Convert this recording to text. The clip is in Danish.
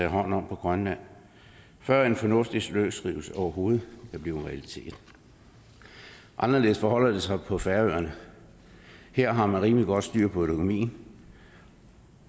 hånd om på grønland før en fornuftig løsrivelse overhovedet kan blive en realitet anderledes forholder det sig på færøerne her har man rimelig godt styr på økonomien